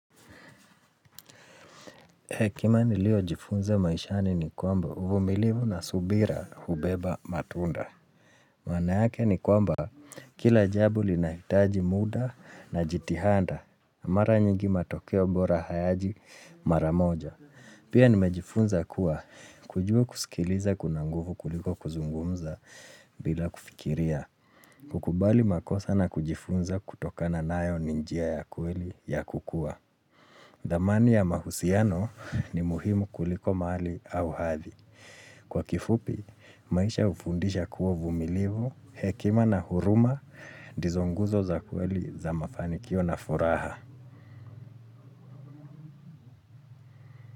Hekima nilio jifunza maishani ni kwamba uvumilivu na subira hubeba matunda. Maana yake ni kwamba kila jambo linahitaji muda na jitihada. Mara nyingi matokeo bora hayaji mara moja. Pia nimejifunza kuwa kujua kusikiliza kuna nguvu kuliko kuzungumza bila kufikiria. Kukubali makosa na kujifunza kutokana nayo ni njia ya kweli ya kukua. Dhamani ya mahusiano ni muhimu kuliko mahali au hathi. Kwa kifupi, maisha hufundisha kuwa uvumilivu hekima na huruma ndizo nguzo za kweli za mafanikio na furaha.